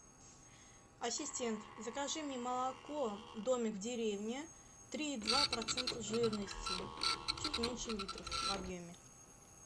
ассистент закажи мне молоко домик в деревне три и два процента жирности чуть меньше литра в объеме